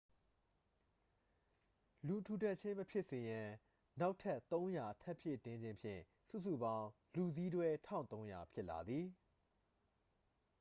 လူထူထပ်ခြင်း မဖြစ်စေရန် နောက်ထပ် 300 ထပ်ဖြည့်ခြင်းဖြင့် စုစုပေါင်း လူစီးတွဲ 1300 ဖြစ်လာသည်